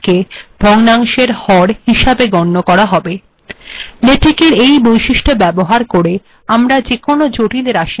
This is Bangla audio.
েলেটেকর এই ৈবিশষ্ট্য ব্যবহার কের েযকোনো জিটল রািশমালা অনায়ােস টাইপ করা যায়